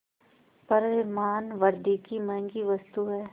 पर मानवृद्वि की महँगी वस्तु है